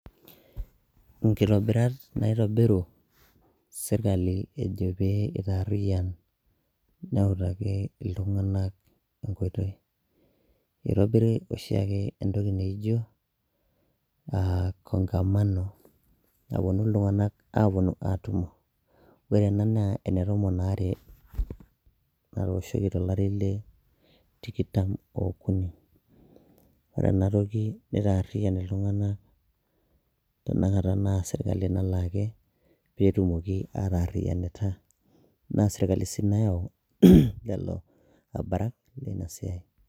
Inkitobirat naitobiru serkali ejo pee eikariyan neutaki iltung'ana enkoitoi. Eitobiri oshiake entoki naijo kongamano nawuonu iltung'ana aatumo. Ore ena naa ene tomon are natooshoki tolari le tikitam okuni. Ore ena toki naitariyan iltung'ana tenakata naa serkali nalaaki pee etumoki atarayanita, naa serkali sii nayau lelo abarak leina siai.